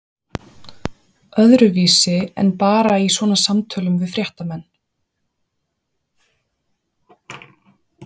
Öðruvísi en bara í svona samtölum við fréttamenn?